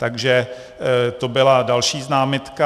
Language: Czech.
Takže to byla další námitka.